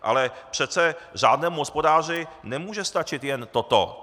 Ale přece řádnému hospodáři nemůže stačit jen toto!